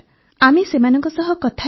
ଆମେ ସେମାନଙ୍କ ସହ କଥା ହେଲୁ